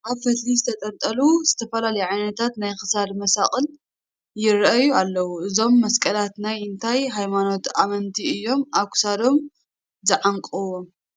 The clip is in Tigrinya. ኣብ ፈትሊ ዝተንጠልጠሉ ዝተፈላለዩ ዓይነታት ናይ ክሳድ መሳቕል ይርአዩ ኣለዉ፡፡ እዞም መስቀላት ናይ እንታይ ሃይማኖት ኣመንቲ እዮም ኣብ ክሳዶም ዝዓንቑዎም?